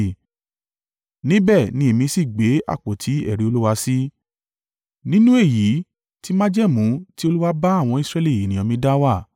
Níbẹ̀ ni èmi sì gbé àpótí ẹ̀rí Olúwa sí, nínú èyí ti májẹ̀mú ti Olúwa bá àwọn Israẹli ènìyàn mi dá wà.”